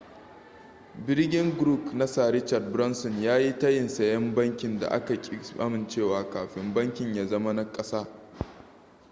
ɓirgin grouƙ na sir richard branson ya yi tayin sayen bankin da aka ƙi amincewa kafin bankin ya zama na kasa